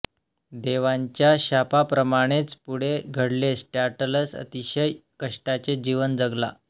देवांच्या शापाप्रमाणेच पुढे घडले टॅंटलस अतिशय कष्टाचे जीवन जगला